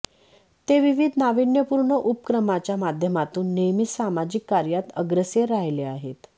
ते विविध नाविन्यपूर्ण उपक्रमाच्या माध्यमातून नेहमीच सामाजिक कार्यात अग्रेसर राहिले आहेत